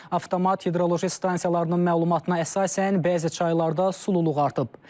Avtomat hidroloji stansiyalarının məlumatına əsasən bəzi çaylarda sululuq artıb.